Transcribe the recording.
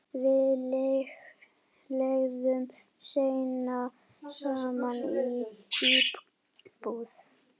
Við leigðum seinna saman íbúð.